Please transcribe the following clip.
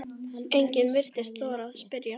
Enginn virtist þora að spyrja